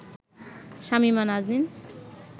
Shamima Naznin